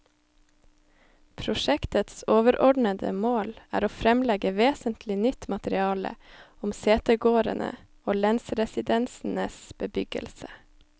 Prosjektets overordede mål er å fremlegge vesentlig nytt materiale om setegårdene og lensresidensenes bebyggelse.